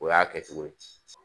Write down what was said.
O y'a kɛcogo ye.